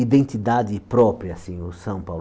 identidade própria, assim, o São Paulo.